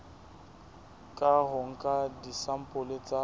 ka ho nka disampole tsa